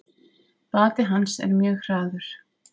Bati hans er mjög hraður.